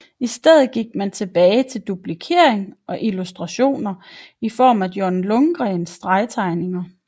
I stedet gik man tilbage til duplikering og illustrationer i form af John Lundgrens stregtegninger